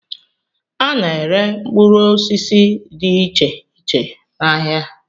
A na-ere mkpụrụ osisi dị iche iche n'ahịa